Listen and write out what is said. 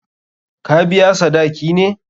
Ka biya sadaki ne?